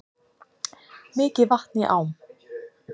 Mikið vatn í ám